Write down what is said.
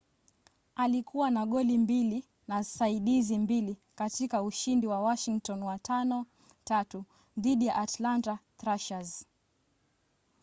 alikuwa na goli mbili na saidizi mbili katika ushindi wa washington wa 5-3 dhidi ya atlanta thrashers